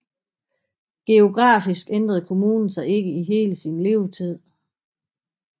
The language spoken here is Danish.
Geografisk ændrede kommunen sig ikke i hele sin levetid